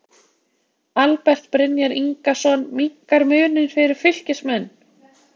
ALBERT BRYNJAR INGASON MINNKAR MUNINN FYRIR FYLKISMENN!!